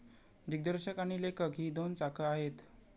दिग्दर्शक आणि लेखक ही दोन चाकं आहेत.